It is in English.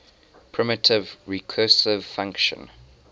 primitive recursive function